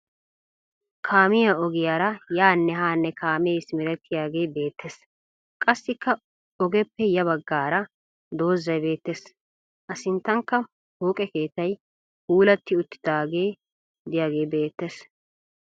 Kaamiya ogiyara yaanne haanne kaamee simerettiyagee beettes. Qassikka ogiyappe ya baggaara dozzay beettes. Asinttankka pooqe keettay puulatti uttiidaage diyagee beettes.